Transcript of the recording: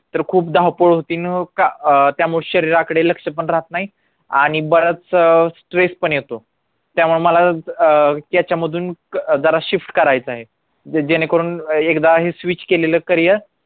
तर खूप धावपळ होते न त्यामुळे शरीराकडे लक्ष पण राहत नाही आणि बराच stress पण